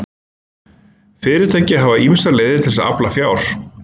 Fyrirtæki hafa ýmsar leiðir til að afla fjár.